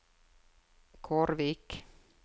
Kårvik